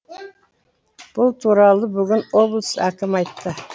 бұл туралы бүгін облыс әкімі айтты